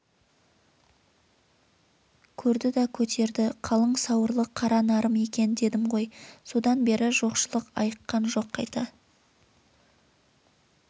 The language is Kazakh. көрді да көтерді қалың сауырлы қара нарым екен дедім ғой содан бері жоқшылық айыққан жоқ қайта